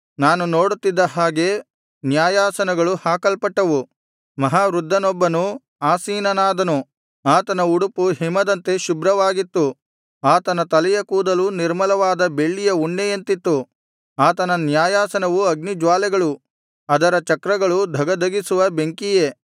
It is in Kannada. ನಾನು ನೋಡುತ್ತಿದ್ದ ಹಾಗೆ ನ್ಯಾಯಾಸನಗಳು ಹಾಕಲ್ಪಟ್ಟವು ಮಹಾವೃದ್ಧನೊಬ್ಬನು ಆಸೀನನಾದನು ಆತನ ಉಡುಪು ಹಿಮದಂತೆ ಶುಭ್ರವಾಗಿತ್ತು ಆತನ ತಲೆಯ ಕೂದಲು ನಿರ್ಮಲವಾದ ಬಿಳಿಯ ಉಣ್ಣೆಯಂತಿತ್ತು ಆತನ ನ್ಯಾಯಾಸನವು ಅಗ್ನಿಜ್ವಾಲೆಗಳು ಅದರ ಚಕ್ರಗಳು ಧಗಧಗಿಸುವ ಬೆಂಕಿಯೇ